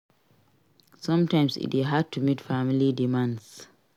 Sometimes e dey hard to meet family demands